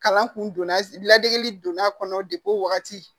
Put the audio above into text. Kalan kun don ladegeli donn'a kɔnɔ o wagati